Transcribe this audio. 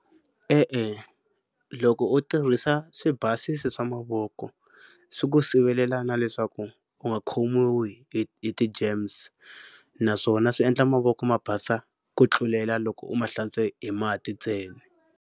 E-e loko u tirhisa swibasisi swa mavoko swi ku sivelela na leswaku u nga khomiwi hi hi ti-germs naswona swi endla mavoko ma basa ku tlulela loko u ma hlantswa hi mati ntsena.